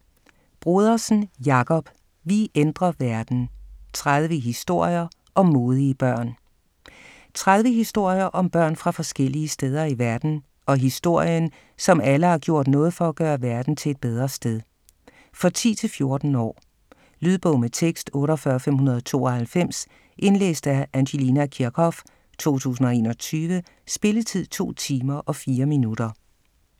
Brodersen, Jakob: Vi ændrer verden: 30 historier om modige børn 30 historier om børn fra forskellige steder i verden og historien, som alle har gjort noget for at gøre verden til et bedre sted. For 10-14 år. Lydbog med tekst 48592 Indlæst af Angelina Kirchhoff, 2021. Spilletid: 2 timer, 4 minutter.